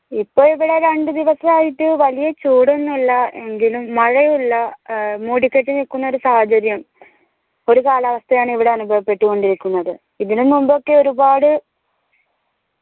ഇപ്പൊ ഇവിടെ രണ്ട് ദിവസായിട്ട് വലിയ ചൂടൊന്നുല്ല എങ്കിലും മഴയുല്ല അഹ് മൂടിക്കെട്ടി നിക്കുന്നൊരു സാഹചര്യം ഒരു കാലാവസ്ഥായാണ് ഇവിടെ അനുഭവപെട്ടു കൊണ്ടിരിക്കുന്നത് ഇതിനും മുമ്പ് ഒക്കെ ഒരുപാട്